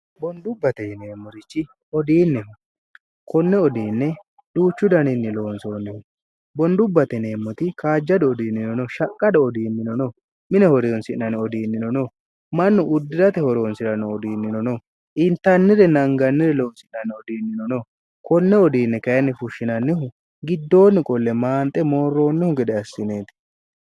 bondubbateineemmorichi odiinnehu konne odiinne duuchu daniinni loonsoonnihu bondubbate neemmoti kaajjadu odiinninono shaqqada odiinnino no mine horeyonsi'nane odiinnino no mannu uddirate horoonsi'ranno odiinninono iintannire nangannire loonsi'nanne odiinnino no konne odiinni kayinni fushshinannihu giddoonni qolle maanxe moorroonnihu gede assineeti